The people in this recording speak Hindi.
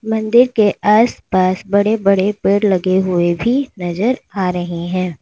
मंदिर के आस पास बड़े बड़े पेड़ लगे हुएं भी नजर आ रही है।